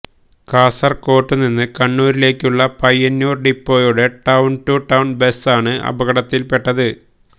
കാസർകോട്ടുനിന്ന് കണ്ണൂരിലേക്കുള്ള പയ്യന്നൂർ ഡിപ്പോയുടെ town to town ബസ്സാണ് അപകടത്തിൽപ്പെട്ടത്